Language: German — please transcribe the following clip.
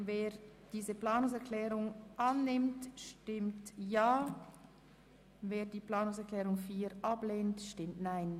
Wer diese Planungserklärung annehmen will, stimmt Ja, wer das nicht möchte, stimmt Nein.